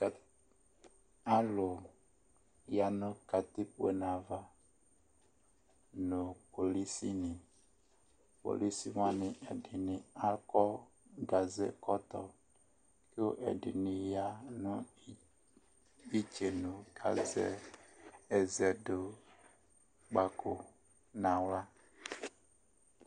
Ɛ alʋ ya nʋ katikpone ava nʋ kpolisinɩ. Kpolisi wanɩ ɛdɩnɩ akɔ gazekɔtɔ kʋ ɛdɩnɩ ya nʋ i istenu kʋ azɛ ɛzɛdʋkpako nʋ aɣla.